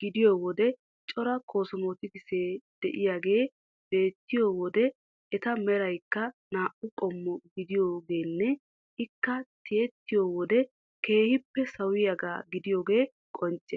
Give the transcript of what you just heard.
gidiyo wode cora koosomootikisee de'iyagee beettiyo wode eta meraykka naa"u qommo gidiogeenne I kka tiyettiyo wode keehippe sawiyagaaa gidiyogee qoncce.